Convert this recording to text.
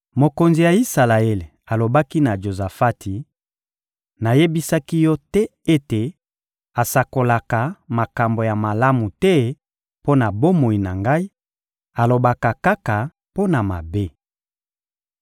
Mokonzi ya Isalaele alobaki na Jozafati: — Nayebisaki yo te ete asakolaka makambo ya malamu te mpo na bomoi na ngai, alobaka kaka mpo na mabe!